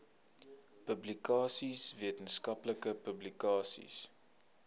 publikasies wetenskaplike publikasies